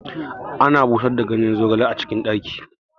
Ana busar da ganyen zogali a cikin ɗaki